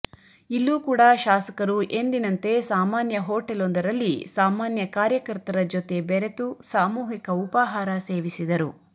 ಇಲ್ಲೂ ಕೂಡ ಶಾಸಕರು ಎಂದಿನಂತೆ ಸಾಮಾನ್ಯ ಹೊಟೇಲೊಂದರಲ್ಲಿ ಸಾಮಾನ್ಯ ಕಾರ್ಯಕರ್ತರ ಜೊತೆ ಬೆರೆತು ಸಾಮೂಹಿಕ ಉಪಹಾರ ಸೇವಿಸಿದರು